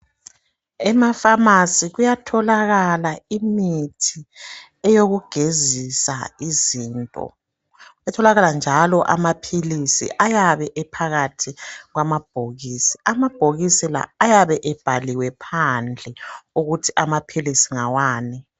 Emafamasi kuyatholakala imithi eyokugezisa izinto. Kuyatholakala njalo amaphilisi ayabe ephakathi kwamabhokisi. Amabhokisi la ayabe ebhaliwe phandle ukuthi amaphilisi ngawani.